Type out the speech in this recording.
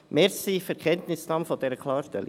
Danke für die Kenntnisnahme dieser Klarstellung.